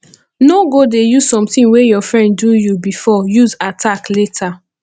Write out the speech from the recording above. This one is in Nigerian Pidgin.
no go dey use something wey your friend do you before use attack later